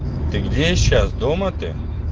ты где сейчас дома ты